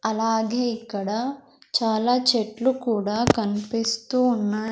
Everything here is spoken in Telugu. అలాగే ఇక్కడ చాలా చెట్లు కూడా కన్పిస్తూ ఉన్నాయ్.